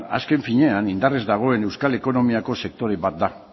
azken finean indarrez dagoen euskal ekonomiako sektore bat da